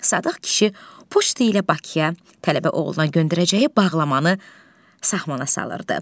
Sadıq kişi poçtu ilə Bakıya tələbə oğluna göndərəcəyi bağlamanı saxlana salırdı.